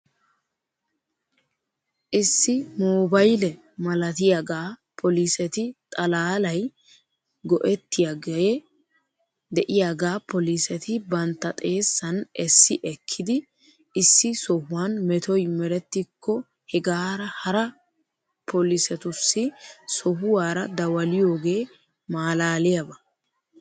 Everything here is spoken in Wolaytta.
Issi moobayle malatiyaagaa poliseti xalaalay ge'ettiyoogee de'iyaagaa poliseti bantta xeessan essi ekkidi issi sohuwan metoy merettikko hegaara hara pelisetussi sohuwaara dawaliyoogee malaaliyaaba.